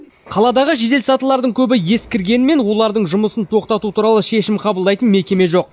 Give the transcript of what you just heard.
қаладағы жеделсатылардың көбі ескіргенмен олардың жұмысын тоқтату туралы шешім қабылдайтын мекеме жоқ